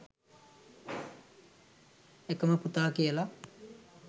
එකම පුතා කියලා.